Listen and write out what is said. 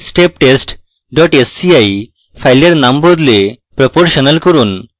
steptest dot sci file নাম বদলে proportional করুন